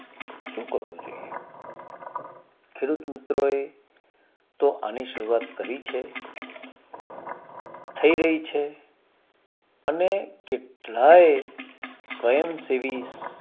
શું કરવું જોઈએ ખેડૂત મિત્રો એ તો એની શરૂઆત કરી છે થઇ રહી છે અને કેટલા એ સ્વયંસેવી